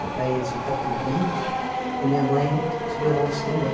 Meu pai é de Itapebi e minha mãe de Belmonte também.